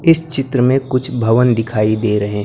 इस चित्र में कुछ भवन दिखाई दे रहे--